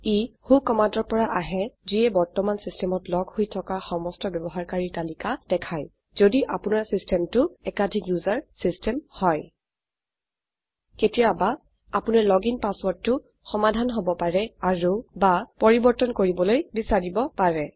ই ৱ্হ কমান্ডৰ পৰা আহে যিয়ে বৰ্তমানে সিস্টমত লগ হৈ থকা সমস্ত ব্যবহাৰকাৰীৰ তালিকা দেখায় যদি আপোনাৰ সিস্টমটো একাধিক ওচেৰ সিস্টম হয় কেতিয়াবা আপোনাৰ লগিন পাছৱৰ্ৰদটো সমাধান হব পাৰে অাৰু বা পৰিবৰ্তন কৰিবলৈ বিছাৰিব পাৰে